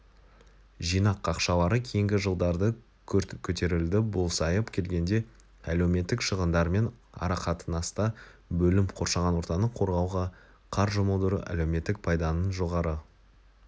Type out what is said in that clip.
жинақ ақшалары кейінгі жылдарды күрт көтерілді бұл сайып келгенде әлеуметтік шығындармен арақатынаста бөлім қоршаған ортаны қорғауға қар жұмылдыру әлеуметтік пайданың жоғары